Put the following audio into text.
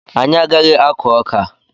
Anyị agaghị akụ ọka.